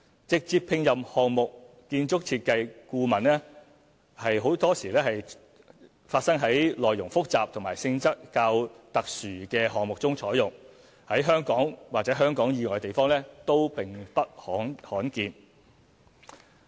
直接聘任項目建築設計顧問多發生在內容複雜和性質較特殊的項目中採用，在香港或香港以外地方都並不罕見。